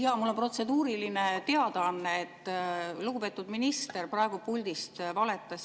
Jaa, mul on protseduuriline teadaanne, et lugupeetud minister praegu puldist valetas.